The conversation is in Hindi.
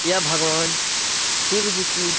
यह भगवान शिव जी की--